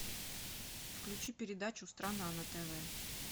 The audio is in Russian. включи передачу страна на тв